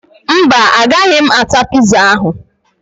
Mba, agaghị m ata piza ahụ